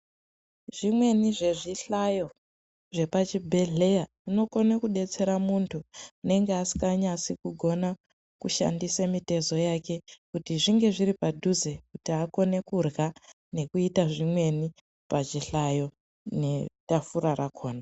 Zvimweni zvezvihlayo, zvepachibhedhleya, unokone kudetsera muntu unenge asinganyatsi kugona kushandise mitezo yake, kuti zvinge zviripadhuze kuti akone kudlya nekuyita zvimweni pazvihlayo netafura rakhona.